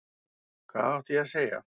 Hvað átti ég að segja?